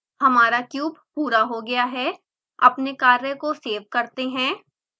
हमारा क्यूब पूरा हो गया है अपने कार्य को सेव करते हैं